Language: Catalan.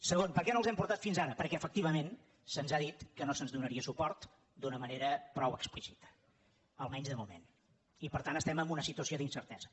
segon per què no els hem portat fins ara perquè efectivament se’ns ha dit que no se’ns donaria suport d’una manera prou explícita almenys de moment i per tant estem en una situació d’incertesa